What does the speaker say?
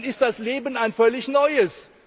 Dann ist das Leben ein völlig neues.